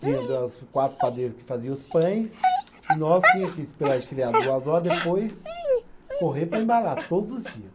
Tinha das, quatro padeiros que fazia os pães e nós tinha que esperar esfriar duas horas e depois correr para embalar, todos os dias.